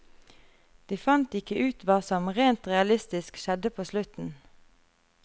De fant ikke ut hva som, rent realistisk, skjedde på slutten.